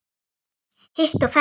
Hitt og þetta.